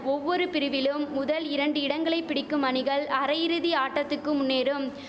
ஒவ்வொரு பிரிவிலும் முதல் இரண்டு இடங்களை பிடிக்கும் அணிகள் அரையிறுதி ஆட்டத்துக்கு முன்னேறும்